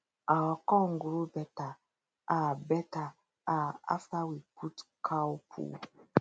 our corn grow better um better um after we put cow poo